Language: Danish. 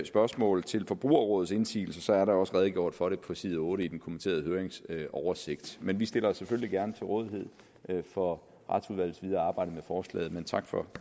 spørgsmål til forbrugerrådets indsigelse er der også redegjort for det på side otte i den kommenterede høringsoversigt vi vi stiller os selvfølgelig gerne til rådighed for retsudvalgets videre arbejde med forslaget tak for